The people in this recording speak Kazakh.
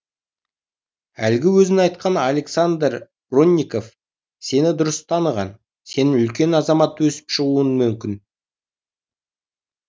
әлгі өзің айтқан александр бронников сені дұрыс таныған сенен үлкен азамат өсіп шығуы мүмкін